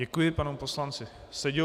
Děkuji panu poslanci Seďovi.